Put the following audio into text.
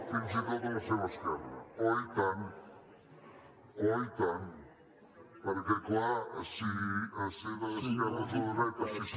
fins i tot a la seva esquerra oi tant oi tant perquè clar si ser d’esquerres o de dretes si ser